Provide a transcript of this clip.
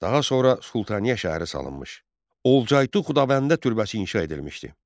Daha sonra Sultaniyə şəhəri salınmış, Olcaytu Xudabəndə türbəsi inşa edilmişdi.